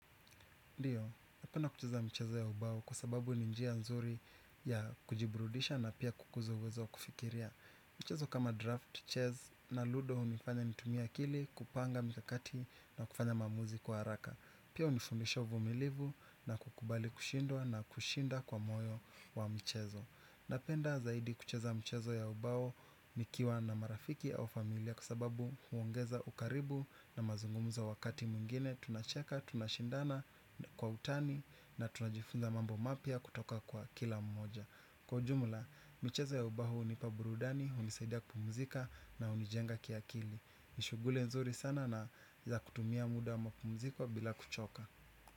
Ndiyo, napenda kucheza michezo ya ubao kwa sababu ni njia nzuri ya kujiburudisha na pia kukuza uwezo kufikiria. Michezo kama drafti, sataranji na ludo hunifanya nitumie akili, kupanga mikakati na kufanya maamuzi kwa haraka. Pia hunifundisha uvumilivu na kukubali kushindwa na kushinda kwa moyo wa mchezo. Napenda zaidi kucheza michezo ya ubao nikiwa na marafiki au familia kwa sababu huongeza ukaribu na mazungumzo wakati mwingine tunacheka, tunashindana kwa utani na tunajifunza mambo mapya kutoka kwa kila mmoja. Kwa jumla, michezo ya ubao hunipa burudani, hunisaidia kupumzika na hunijenga kiakili. Ni shughuli nzuri sana na za kutumia muda wa mapumziko bila kuchoka.